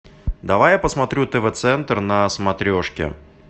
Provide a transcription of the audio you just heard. давай я посмотрю тв центр на смотрешке